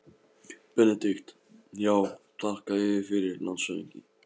BENEDIKT: Já, þakka yður fyrir, landshöfðingi.